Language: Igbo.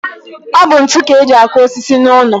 Ọ bụ ntu ka eji akụ osisi n'ụlọ.